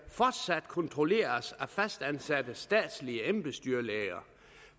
kontrolleres af fastansatte statslige embedsdyrlæger